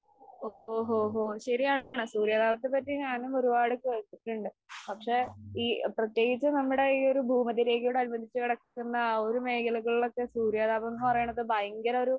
O ഓ ഓ ഓ ശരിയാണ് സൂര്യതാപത്തെപ്പറ്റി ഞാനും ഒരുപാട് കേട്ടിട്ടുണ്ട്. പക്ഷെ ഈ പ്രത്യേകിച്ചും നമ്മടെ ഈ ഒരു ഭൂമധ്യരേഖയോട് അനുബന്ധിച്ച് കിടക്കുന്ന ആ ഒരു മേഖലകളിലൊക്കെ സൂര്യതാപം എന്ന് പറയണത് ഭയങ്കര ഒരു